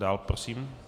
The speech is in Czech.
Dál prosím?